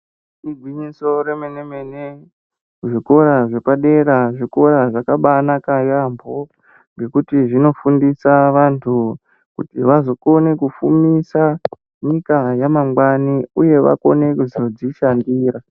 Igwinyiso re mene mene zvikora zvepa dera zvikora zvakabai naka yambo ngekuti zvino fundisa vantu kuti vazokone ku fumisa nyika ya mangwani uye vakone kuzodzi shandira.